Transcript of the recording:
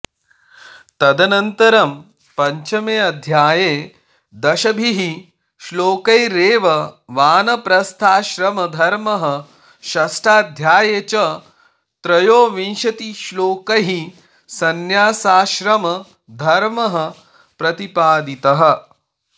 तदन्तरं पञ्चमेऽध्याये दशभिः श्लोकैरेव वानप्रस्थाश्रमधर्मः षष्ठाध्याये च त्रयोविंशतिश्लोकैः संन्यासाश्रमधर्मः प्रतिपादितः